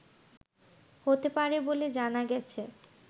হতে পারে বলে জানা গেছে